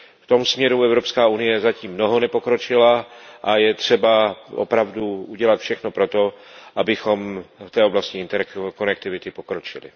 V tomto směru Evropská unie zatím mnoho nepokročila a je třeba opravdu udělat všechno pro to, abychom v té oblasti interkonektivity pokročili.